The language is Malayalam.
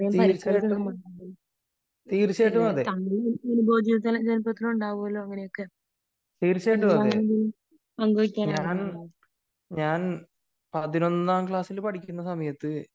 തീർച്ചയായിട്ടും തീർച്ചയായിട്ടും അതെ തീർച്ചയായിട്ടും അതെ ഞാൻ പതിനൊന്നാം ക്ലാസ്സിൽ പഠിക്കുന്ന സമയത്തു